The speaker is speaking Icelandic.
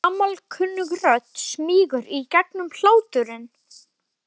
Gamalkunnug rödd smýgur í gegnum hláturinn.